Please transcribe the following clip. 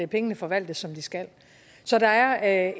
pengene forvaltes som de skal så der er